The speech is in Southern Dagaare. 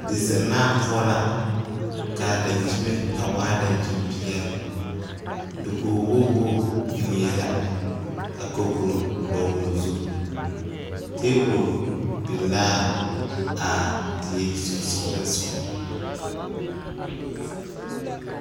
Dizennaa poɔ la ka dankyime a waa dankyimpeɛle dakogwogi wogi biŋ la ka kapuro dɔgle o zu tabol biŋ l,a die sensoglesoga.